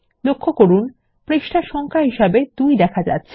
lলক্ষ্য করুন পৃষ্ঠা সংখ্যা হিসাবে ২ দেখা যাচ্ছে